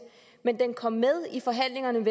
men den kom med i forhandlingerne